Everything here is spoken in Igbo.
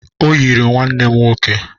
Ọ yiri nwanne m nwoke